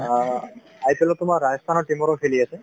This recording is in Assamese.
অ IPLত তোমাৰ ৰাজস্থানৰ team ৰো খেলি আছে